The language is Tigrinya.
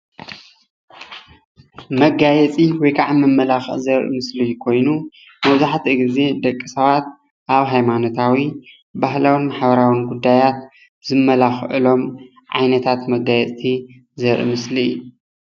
መጋየፂ ወይ መመላኪዒ ዘርኢ ምስሊ ኮይኑ መብዛሕትኡ ግዜ ደቂ ሰባት ኣብ ሃይማኖታዊ ባህላዊን ሓበራዊን ጉዳያት ዝመላክዕሎም ዓይነታት መጋየፅቲ ዘርኢ ምስሊ እዩ፡፡